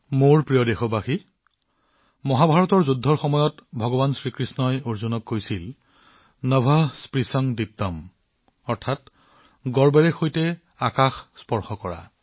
মোৰ মৰমৰ দেশবাসীসকল মহাভাৰতৰ যুদ্ধৰ সময়ত ভগৱান কৃষ্ণই অৰ্জুনক কৈছিল নভঃ স্পৃশং দীপ্তমৰ অৰ্থ হৈছে গৌৰৱেৰে আকাশ স্পৰ্শ কৰা